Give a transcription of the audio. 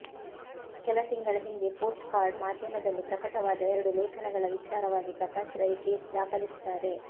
ಕೆಲ ತಿಂಗಳ ಹಿಂದೆ ಪೋಸ್ಟ್ ಕಾರ್ಡ್ ಮಾಧ್ಯಮದಲ್ಲಿ ಪ್ರಕಟವಾದ ಎರಡು ಲೇಖನಗಳ ವಿಚಾರವಾಗಿ ಪ್ರಕಾಶ್ ರೈ ಕೇಸ್ ದಾಖಲಿಸುತ್ತಾರೆ